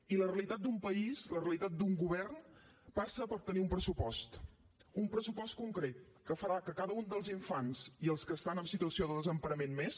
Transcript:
i la realitat d’un país la realitat d’un govern passa per tenir un pressupost un pressupost concret que farà que cada un dels infants i els que estan en situació de desemparament més